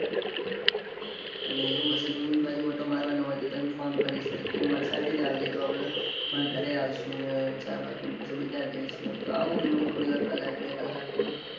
ને એવું હશે. તો હું એ બાજુ આંટો મારવાનો હોય તો હું તને phone કરીશ. તો તું મારી સાથે જ આવજે. તો આપણે મારા ઘરે આવસુ. ન ચા બા પીને પસી બજાર જઈસુ. આમ તો એવું હમણાં થોડી વાર કલાક બે કલાક માં.